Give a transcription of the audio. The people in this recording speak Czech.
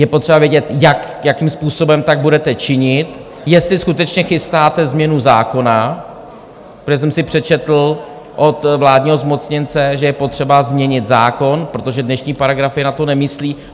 Je potřeba vědět, jakým způsobem tak budete činit, jestli skutečně chystáte změnu zákona, protože jsem si přečetl od vládního zmocněnce, že je potřeba změnit zákon, protože dnešní paragrafy na to nemyslí.